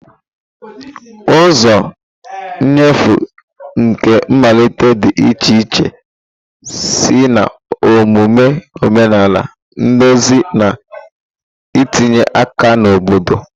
Ụzọ nnyefe nke mmalite dị iche iche site na omume omenala, nduzi, na itinye aka na obodo.